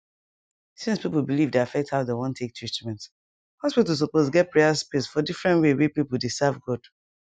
since people belief dey affect how dem wan take treatment hospital suppose get prayer space for different way wey people dey serve god